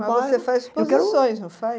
Mas você faz exposições, não faz?